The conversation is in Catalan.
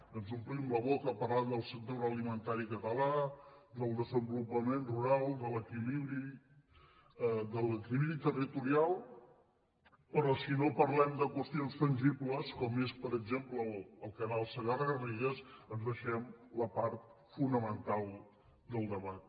ens omplim la boca parlant del sector agroalimentari català del desenvolupament rural de l’equilibri territorial però si no parlem de qüestions tangibles com és per exemple el canal segarra garrigues ens deixem la part fonamental del debat